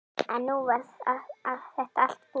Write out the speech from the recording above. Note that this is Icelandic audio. En nú var þetta allt búið.